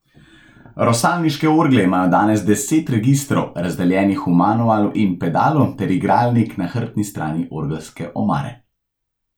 Rosalniške orgle imajo danes deset registrov, razdeljenih v manualu in pedalu ter igralnik na hrbtni strani orgelske omare.